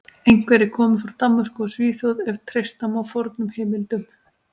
Einhverjir komu frá Danmörku og Svíþjóð ef treysta má fornum heimildum.